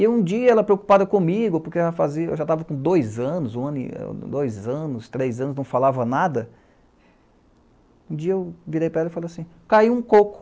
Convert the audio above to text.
E um dia ela, preocupada comigo, porque eu já estava com dois anos, um ano, dois anos, três anos, não falava nada, um dia eu virei para ela e falei assim, ''caiu um coco''.